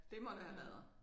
Det må det have været